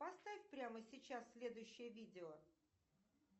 поставь прямо сейчас следующее видео